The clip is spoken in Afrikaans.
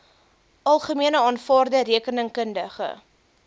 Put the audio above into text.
algemene aanvaarde rekeningkundige